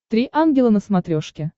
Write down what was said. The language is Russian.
три ангела на смотрешке